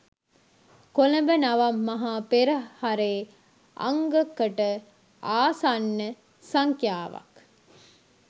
කොළඹ නවම් මහා පෙරහරේ අංග කට ආසන්න සංඛ්‍යාවක්